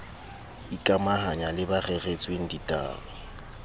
ikamahanya le ba reretsweng ditaba